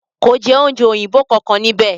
Kò jẹ oúnjẹ òyìnbó kankan ní íbẹ̀.